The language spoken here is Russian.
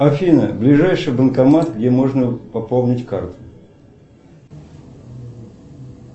афина ближайший банкомат где можно пополнить карту